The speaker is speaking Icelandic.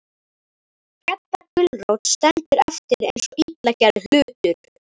Gedda gulrót stendur eftir eins og illa gerður hlutur.